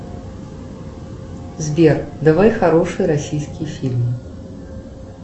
сбер давай хороший российский фильм